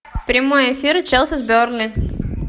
прямой эфир челси с бернли